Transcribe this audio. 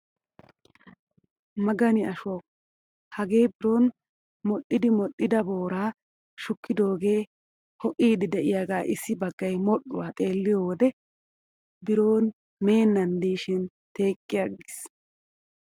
Magani ashshuwaawu! hagee biron modhdhiidi modhdhida booraa shukkidoogee ho"iidi de'iyaagaa issi baggay modhdhuwaa xeelliyoo wode biro meennan diishin teqqi agges!